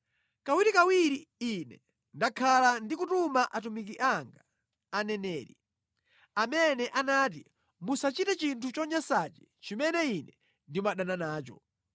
Kawirikawiri Ine ndakhala ndikutuma atumiki anga, aneneri, amene anati, ‘Musachite chinthu chonyansachi chimene Ine ndimadana nacho!’